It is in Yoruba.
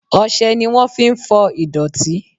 Ọsẹ ni wọn fi ń fọ ìdọ̀tí